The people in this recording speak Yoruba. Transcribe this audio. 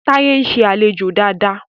Taye nṣe alejò Dàda.